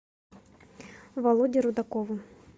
володе рудакову